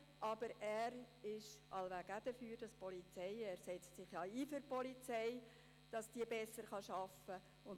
Aber der Polizeidirektor ist wahrscheinlich auch dafür, denn er setzt sich ja für die Polizei ein, damit sie besser arbeiten kann.